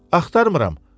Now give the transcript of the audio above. Axtarmıram.